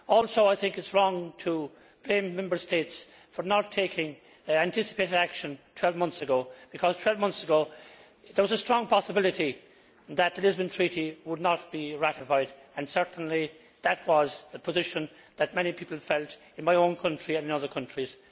I also think it is wrong to blame Member States for not taking anticipated action 12 months ago because 12 months ago there was a strong possibility that the Lisbon Treaty would not be ratified, and certainly that was a position which many people felt in my own country and in other countries.